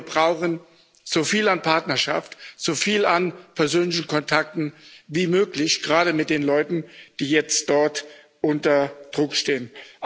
Wir brauchen so viel an Partnerschaft, so viel an persönlichen Kontakten wie möglich, gerade mit den Leuten, die jetzt dort unter Druck stehen.